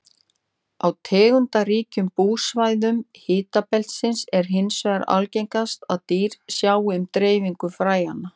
Á tegundaríkum búsvæðum hitabeltisins er hins vegar algengast að dýr sjái um dreifingu fræjanna.